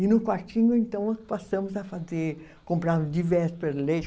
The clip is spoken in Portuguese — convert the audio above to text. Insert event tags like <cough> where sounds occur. E no quartinho, então, nós passamos a fazer, comprar de véspera <unintelligible>